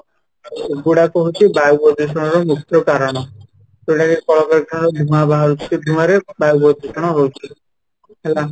ଏଗୁଡ଼ାକ ହଉଛି ବାୟୁ ପ୍ରଦୂଷଣ ର ମୁଖ୍ୟ କାରଣ ଏଡ଼େ କଳକାରଖାନା ର ଧୂଆଁ ବାହାରୁଛି , ଧୂଆଁ ରେ ବାୟୁ ପ୍ରଦୂଷଣ ହଉଛି ହେଲା